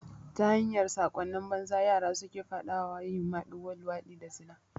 Ta hanyar sakonni banza yara suke faɗa wa yin maɗigo, luwaɗi da zina